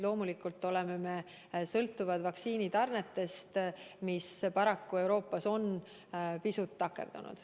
Loomulikult oleme me sõltuvad vaktsiinitarnetest, mis paraku Euroopas on pisut takerdunud.